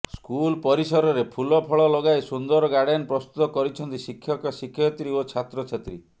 school ପରିସରରେ ଫୁଲ ଫଳ ଲଗାଇ ସୁନ୍ଦର ଗାର୍ଡେନ ପ୍ରସ୍ତୁତ କରିଛନ୍ତି ଶିକ୍ଷକ ଶିକ୍ଷୟତ୍ରୀ ଓ ଛାତ୍ରଛାତ୍ରୀ